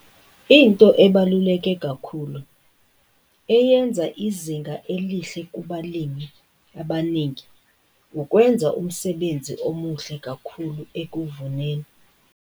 Into ebaluleke kakhulu eyenza izinga elihle kubalimi abaningi ukwenza umsebenzi omuhle kakhulu ekuvuneni.